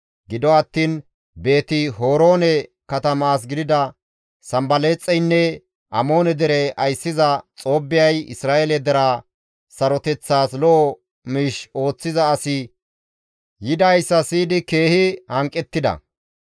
Gido attiin Beeti-Horoone katama as gidida sanbalaaxeynne Amoone dere ayssiza Xoobbiyay Isra7eele deraa saroteththas lo7o miish ooththiza asi yidayssa siyidi keehi hanqettida.